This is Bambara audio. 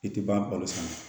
I tɛ ban balo san na